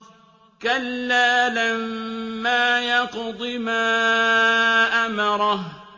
كَلَّا لَمَّا يَقْضِ مَا أَمَرَهُ